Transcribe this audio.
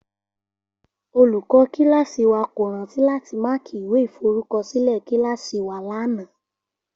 Olùkó kíláàsï wa kò rántí láti máàkì ìwé ìforúkosílè kíláàsï wa lánàá